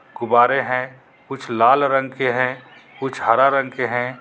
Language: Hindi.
गुबारे हे कुछ लाल रंग के हे कुछ हरा रंग के हे.